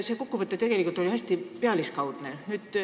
See kokkuvõte oli tegelikult hästi pealiskaudne.